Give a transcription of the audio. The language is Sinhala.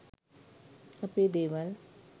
අපේ දේවල්